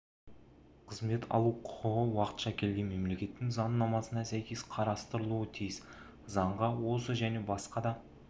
қызмет алу құқығы уақытша келген мемлекеттің заңнамасына сәйкес қарастырылуы тиіс заңға осы және басқа да